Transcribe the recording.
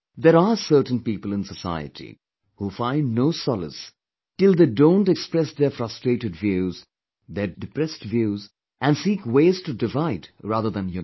There are certain people in society, who find no solace till they do not express their frustrated views, their depressed views and seek ways to divide rather than unite